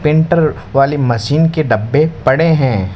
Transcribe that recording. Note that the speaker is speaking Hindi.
पेंटर वाली मशीन के डब्बे पड़े हैं।